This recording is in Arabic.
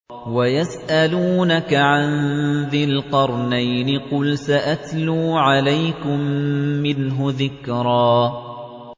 وَيَسْأَلُونَكَ عَن ذِي الْقَرْنَيْنِ ۖ قُلْ سَأَتْلُو عَلَيْكُم مِّنْهُ ذِكْرًا